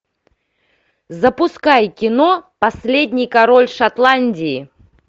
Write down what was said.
запускай кино последний король шотландии